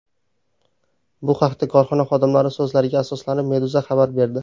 Bu haqda korxona xodimlari so‘zlariga asoslanib, Meduza xabar berdi .